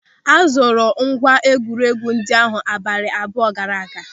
A zụrụ ngwa egwuregwu ndị ahụ abalị abụọ gaara aga.